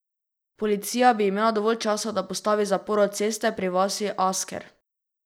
Policija bi imela dovolj časa, da postavi zaporo ceste pri vasi Asker.